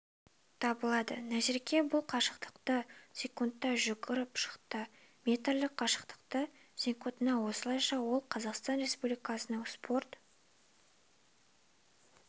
табылады назерке бұл қашықтықты секундта жүгіріп шықты метрлік қашықтықты секундта осылайша ол қазақстан республикасының спорт